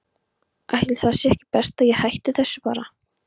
Ætli það sé ekki best að ég hætti þessu bara.